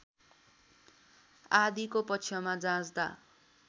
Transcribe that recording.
आदिको पक्षमा जाँच्दा